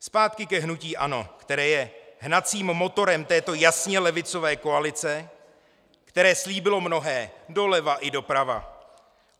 Zpátky ke hnutí ANO, které je hnacím motorem této jasně levicové koalice, které slíbilo mnohé, doleva i doprava.